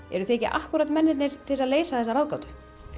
eruð þið ekki mennirnir til þess að leysa þessa ráðgátu